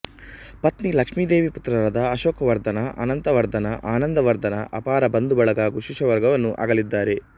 ಪತ್ನಿ ಲಕ್ಷ್ಮಿದೇವಿ ಪುತ್ರರಾದ ಅಶೋಕವರ್ಧನ ಅನಂತವರ್ಧನ ಆನಂದವರ್ಧನ ಅಪಾರ ಬಂಧುಬಳಗ ಹಾಗೂ ಶಿಷ್ಯವರ್ಗವನ್ನು ಅಗಲಿದ್ದಾರೆ